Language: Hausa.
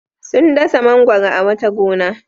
Sun dasa mangwaro a wata gona.